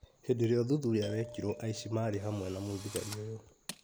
Hĩndĩ ĩra ũthuthuria wekirwo aici marĩ hamwe na mũthigari ũyũ.